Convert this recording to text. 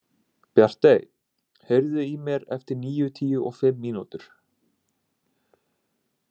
Bjartey, heyrðu í mér eftir níutíu og fimm mínútur.